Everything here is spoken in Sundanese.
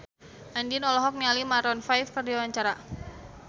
Andien olohok ningali Maroon 5 keur diwawancara